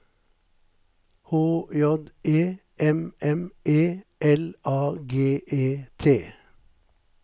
H J E M M E L A G E T